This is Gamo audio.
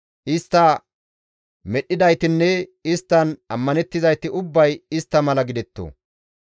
Istta medhdhidaytinne isttan ammanettizayti ubbay istta mala gidetto.